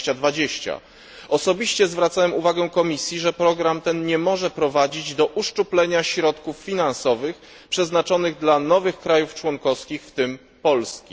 2020. Osobiście zwracałem uwagę Komisji na to, że program ten nie może prowadzić do uszczuplenia środków finansowych przeznaczonych dla nowych krajów członkowskich, w tym dla Polski.